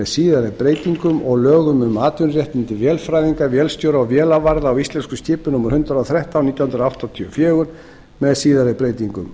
síðari breytingum og lögum um atvinnuréttindi vélfræðinga vélstjóra og vélavarða á íslenskum skipum númer hundrað og þrettán nítján hundruð áttatíu og fjögur með síðari breytingum